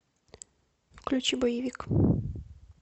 включи боевик